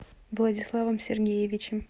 владиславом сергеевичем